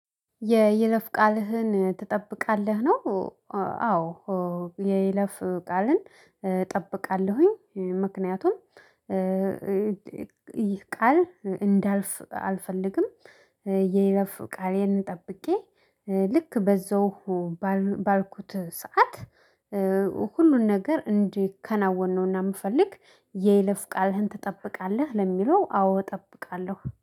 የይለፍ ቃልህን ትጠብቃለህ ነው? አዎ የይለፍ ቃልን እጠብቃለሁኝ። ምክንያቱም ይህ ቃል እንዳልፍ አልፈልግም። የይለፍ ቃሌን ጠብቄ ልክ በዛው ባልኩት ሰዓት ሁሉን ነገር እዲከናወን ነውና ምፈልግ። የይለፍ ቃልህን ትጠብቃለህ ለሚለው አዎ እጠብቃለሁ